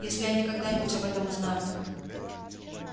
если они когда-нибудь об этом узнают